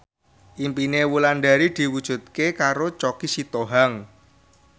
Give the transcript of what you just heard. impine Wulandari diwujudke karo Choky Sitohang